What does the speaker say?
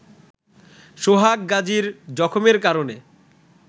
সোহাগ গাজির জখমের কারণে